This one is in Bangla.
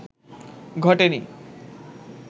ঘটেনি